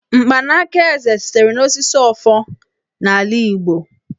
Mkpanaka Eze (ọfọ) sitere n'osisi Ọfọ n'ala Igbo.